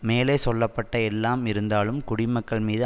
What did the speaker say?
மேலே சொல்ல பட்ட எல்லாம் இருந்தாலும் குடிமக்கள் மீது